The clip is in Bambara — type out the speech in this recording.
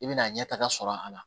I bɛna ɲɛtaga sɔrɔ a la